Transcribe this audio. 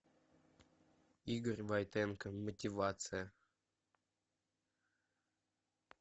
игорь войтенко мотивация